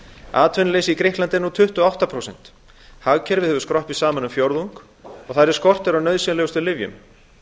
atvinnuleysi í grikklandi er nú tuttugu og átta prósent hagkerfið hefur skroppið saman um fjórðung og þar er skortur á nauðsynlegustu lyfjum